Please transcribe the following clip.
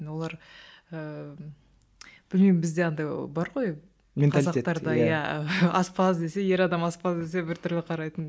олар ыыы білмеймін бізде андай бар ғой қазақтарда иә аспаз десе ер адам аспаз десе біртүрлі қарайтын